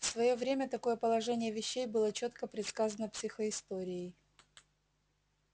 в своё время такое положение вещей было чётко предсказано психоисторией